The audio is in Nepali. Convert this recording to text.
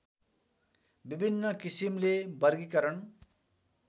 विभिन्न किसिमले वर्गीकरण